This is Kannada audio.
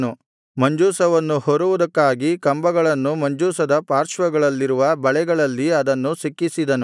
ಮಂಜೂಷವನ್ನು ಹೊರುವುದಕ್ಕಾಗಿ ಕಂಬಗಳನ್ನು ಮಂಜೂಷದ ಪಾರ್ಶ್ವಗಳಲ್ಲಿರುವ ಬಳೆಗಳಲ್ಲಿ ಅದನ್ನು ಸಿಕ್ಕಿಸಿದನು